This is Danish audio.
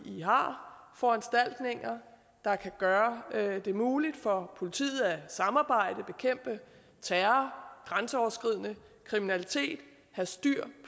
vi har foranstaltninger der kan gøre det muligt for politiet at samarbejde bekæmpe terror og grænseoverskridende kriminalitet og have styr